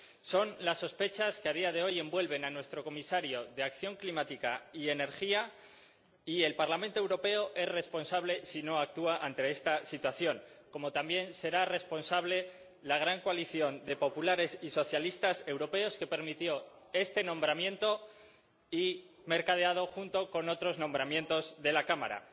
Son las sospechas que a día de hoy envuelven a nuestro Comisario de Acción Climática y Energía, y el Parlamento Europeo es responsable si no actúa ante esta situación, como también será responsable la gran coalición de populares y socialistas europeos que permitió este nombramiento mercadeado junto con otros nombramientos de la Cámara.